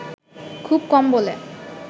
খুব কম বলে